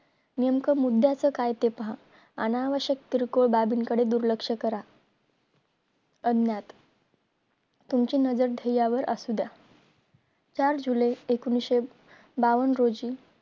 नेमकं मुद्याचं काय ते पहा अनावशक्य किरकोळ बाबीकडे दुर्लक्ष करा अज्ञान तुमची नजर ध्येयावर असू द्या चार july एकोणीशे बावन रोजी